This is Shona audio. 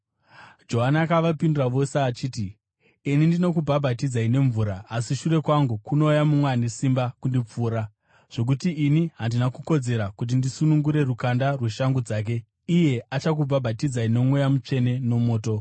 Johani akavapindura vose achiti, “Ini ndinokubhabhatidzai nemvura. Asi shure kwangu kunouya mumwe ane simba kundipfuura zvokuti ini handina kukodzera kuti ndisunungure rukanda rweshangu dzake. Achakubhabhatidzai noMweya Mutsvene nomoto.